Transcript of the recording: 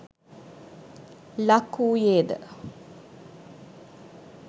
ලක් වූයේ ද?